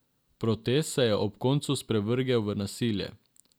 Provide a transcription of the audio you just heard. Protest se je ob koncu sprevrgel v nasilje.